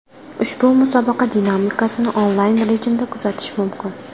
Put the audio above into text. Ushbu musobaqa dinamikasini onlayn rejimda kuzatish mumkin.